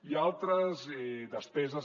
i altres despeses